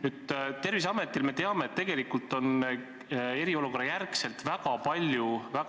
Me teame, et Terviseametil on eriolukorra järel väga palju